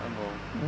Está bom.